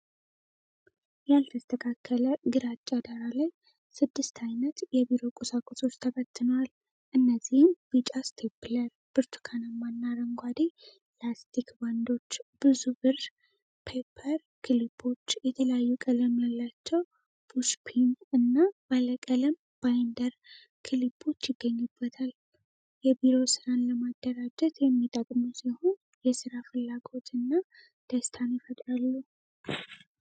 ያልተስተካከለ ግራጫ ዳራ ላይ፣ ስድስት ዓይነት የቢሮ ቁሳቁሶች ተበትነዋል። እነዚህም ቢጫ ስቴፕለር፣ ብርቱካናማና አረንጓዴ ላስቲክ ባንዶች፣ ብዙ ብር ፔፐር ክሊፖች፣ የተለያዩ ቀለም ያላቸው ፑሽፒን እና ባለቀለም ባይንደር ክሊፖች ይገኙበታል። የቢሮ ሥራን ለማደራጀት የሚጠቅሙ ሲሆን የሥራ ፍላጎትና ደስታ ይፈጥራሉ።